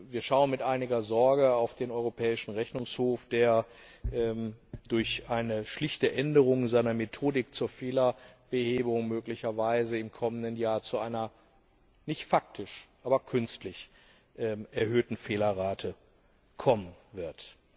Wir schauen mit einiger Sorge auf den Europäischen Rechnungshof, der durch eine schlichte Änderung seiner Methodik zur Fehlerbehebung möglicherweise im kommenden Jahr zu einer nicht faktisch, aber künstlich erhöhten Fehlerrate kommen wird.